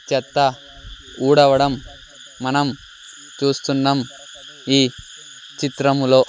చెత్త ఊడవడం మనం చూస్తున్నాం ఈ చిత్రములో--